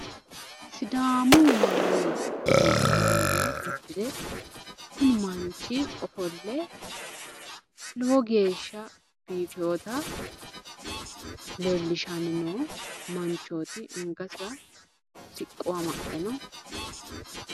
Sidaamu manni budi uduunne uddire kuni manchi ofolle lowo geeshsha bifeyoota leellishanni noo manchooti angasira siqqo amaxxe no.